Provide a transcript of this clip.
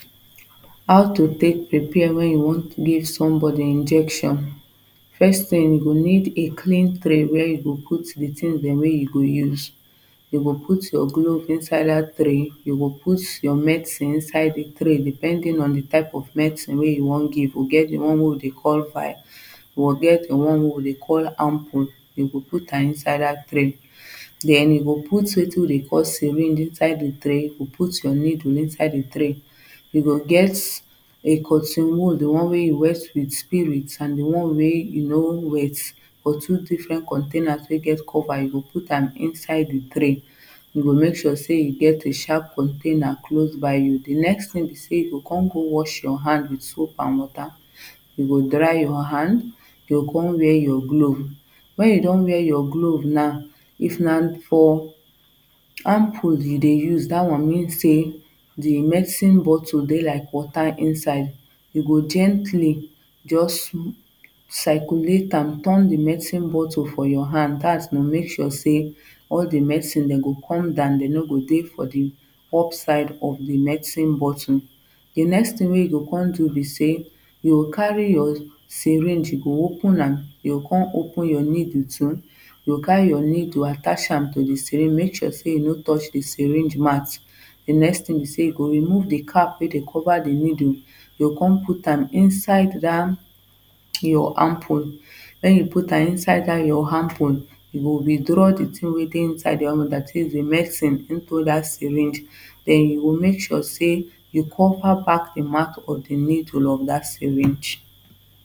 How to take prepare when you wan give somebody injection. First thing you go need a clean tray where you go out the thing dem wey you go use you go put your glove inside that tray you go out your medicine inside that tray depending on the type of medicine wey you wan give e get the one wey we dey call fire we get the one wey we dey call ample you go put am inside that tray then you go put wetin we dey call syringe inside that tray you go put your needle inside the tray you go get a cotton wool the one wey you wet with spirit and the one wey you no wet for two different containers wey get cover you go put am there inside the tray you go make sure say you get a sharp container close by you the next thing be say you go come go wash your hand with soap and water, you go dry your hand you go come wear your glove When you don wear your glove now. If na for ample you dey use that one means say the medicine bottle dey like water inside you go gentle just circulate am turn the medicine bottle for your hand that to make sure say all the medicine dem go come down dem no go dey for up side of the medicine bottle. The next thing wey you go come do be say you go carry your syringe you go open you am you go come open your needle too you go carry your needle attach am to the syringe make sure say e no touch the syringe mouth the next thing be say you go remove the cap wey dem cover the needle you go come put am Inside that your ample. When you put am inside that your ample you go withdraw the thing wey dey inside the under that is the medicine into that syringe then you go make sure sey you cover back the mouth of the needle of that syringe